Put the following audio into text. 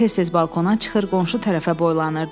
Tez-tez balkona çıxır, qonşu tərəfə boylanırdı.